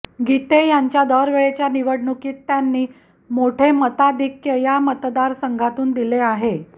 गीते यांच्या दरवेळच्या निवडणुकीत त्यांनी मोठे मताधिक्य या मतदारसंघातून दिले आहे